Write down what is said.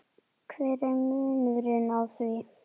hver er munurinn á því?